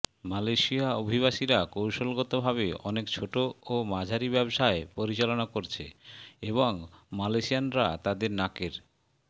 Malaysia অভিবাসীরা কৌশলগত ভাবে অনেক ছোট ও মাঝারি ব্যবসায় পরিচালনা করছে এবং মালয়েশিয়ানরা তাদের নাকের